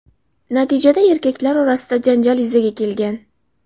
Natijada erkaklar o‘rtasida janjal yuzaga kelgan.